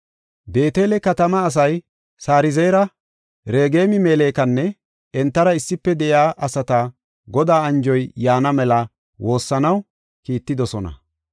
Beetele katamaa asay Sarezeera, Regem-Melekanne entara issife de7iya asata Godaa anjoy yaana mela woossanaw kiittidosona.